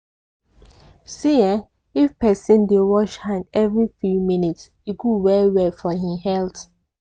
see[um]if persin dey wash hand every few minutues e good well well for hin health.